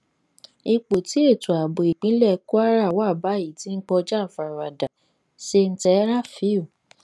ipò tí ètò ààbò ìpínlẹ kwara wà báyìí ti ń kọjá àfaradà sèǹtẹ rafiu